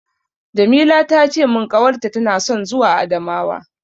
Jamila ta ce min ƙawarta tana son zuwa Adamawa.